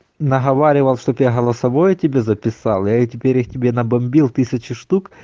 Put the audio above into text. наговаривал чтобы я голосовое тебе записал я теперь их теперь тебе набомбил тысячи штук